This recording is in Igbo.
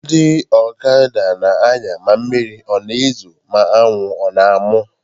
Ndị ọkada na-anya ma mmiri a na-ezo, ma anwụ ọ na-amụ.